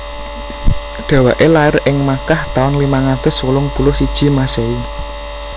Dhèwèké lair ing Makkah taun limang atus wolung puluh siji Masèhi